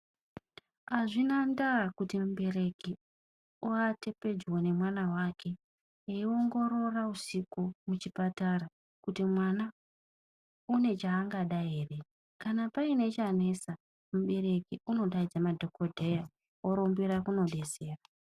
Hazvina ndaa kuti mubereki avate pedyo nemwana wake eiongorora usiku muchipatara kuti mwana une chaangada ere. Kana paine chanesa mubereki unodaidza madhogodheya orumbira kunodetsera.